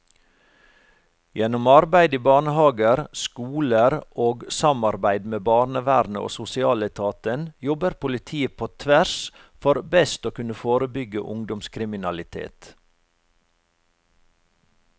Gjennom arbeid i barnehaver, skoler og samarbeid med barnevernet og sosialetaten jobber politiet på tvers for best å kunne forebygge ungdomskriminalitet.